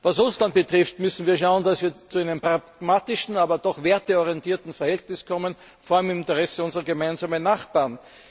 Was Russland betrifft, müssen wir schauen, dass wir zu einem pragmatischen, aber doch werteorientierten Verhältnis kommen, vor allem im Interesse unserer gemeinsamen Nachbarn.